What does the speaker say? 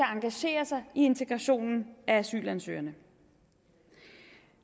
engagere sig i integrationen af asylansøgerne